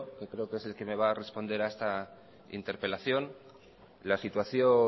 que creo que es el que me va a responder a esta interpelación la situación